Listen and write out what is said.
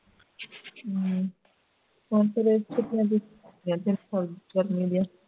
ਹੂ ਹੋਰ ਕਿਵੇਂ ਰਹੀਆਂ ਫੇਰ ਗਰਮੀ ਦੀਆਂ